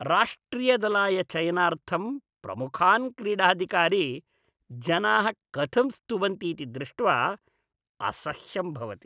राष्ट्रियदलाय चयनार्थं प्रमुखान् क्रीडाधिकारी जनाः कथं स्तुवन्ति इति दृष्ट्वा असह्यं भवति।